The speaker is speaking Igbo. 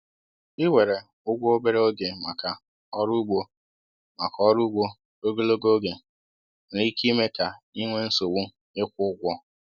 Iwere ụgwọ obere oge maka ọrụ ugbo maka ọrụ ugbo ogologo oge nwere ike ime ka ị nwee nsogbu ịkwụ ụgwọ.